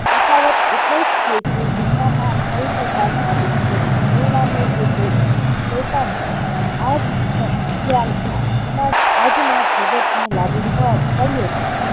તફાવત એટલોજ છે કે એનામાં પવિત્રતા નથી અને પરિણામે એ તે શૈતાન છે આ વિખ્યા ખ્યાલ સમાજ આજના જગતને લાગુ પડે પડીયે છે